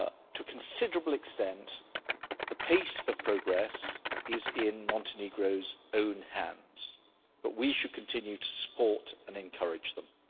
To a considerable extent, the pace of progress is in Montenegro's own hands, but we should continue to support and encourage them.